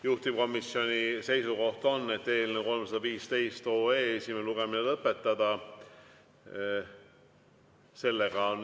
Juhtivkomisjoni seisukoht on, et eelnõu 315 esimene lugemine tuleb lõpetada.